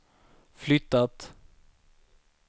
flyttat